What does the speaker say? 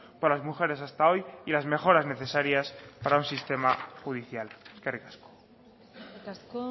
por las mujeres hasta hoy y las mejoras necesarias para un sistema judicial eskerrik asko eskerrik asko